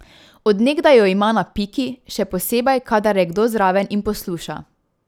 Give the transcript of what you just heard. Od nekdaj jo ima na piki, še posebej, kadar je kdo zraven in posluša.